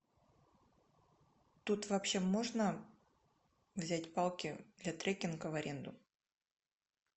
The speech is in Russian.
тут вообще можно взять палки для треккинга в аренду